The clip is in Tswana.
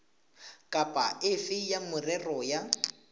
kapa efe ya merero ya